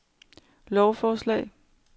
lovforslag